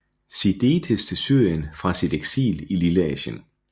Sidetes til Syrien fra sit eksil i Lilleasien